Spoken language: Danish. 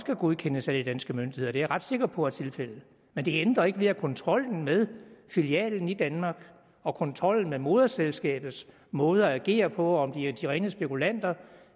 godkendes af de danske myndigheder det er jeg ret sikker på er tilfældet men det ændrer ikke ved kontrollen med filialen i danmark og kontrollen med moderselskabets måde at agere på og om de er de rene spekulanter